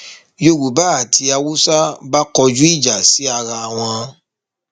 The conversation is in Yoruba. yorùbá àti haúsá bá kọjú ìjà sí ara wọn